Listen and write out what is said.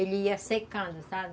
Ele ia secando, sabe?